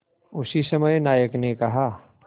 उसी समय नायक ने कहा